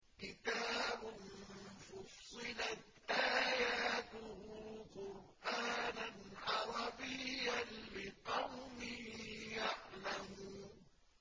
كِتَابٌ فُصِّلَتْ آيَاتُهُ قُرْآنًا عَرَبِيًّا لِّقَوْمٍ يَعْلَمُونَ